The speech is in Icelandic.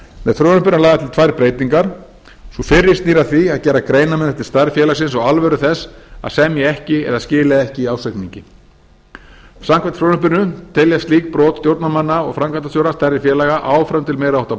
með frumvarpinu er lagðar til tvær breytingar sú fyrri snýr að því að gera greinarmun eftir stærð félagsins á alvöru þess að semja ekki eða skila ekki ársreikningi samkvæmt frumvarpinu teljast slík brot stjórnarmanna og framkvæmdastjóra stærri félaga áfram til meiri háttar